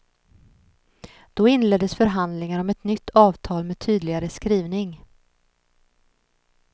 Då inleddes förhandlingar om ett nytt avtal med tydligare skrivning.